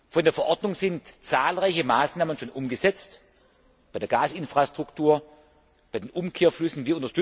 Von der Verordnung sind zahlreiche Maßnahmen schon umgesetzt bei Gasinfrastruktur, bei den Umkehrflüssen.